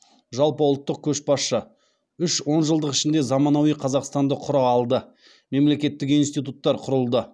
жалпы ұлттық көшбасшы үш он жылдық ішінде заманауи қазақстанды құра алды мемлекеттік институттар құрылды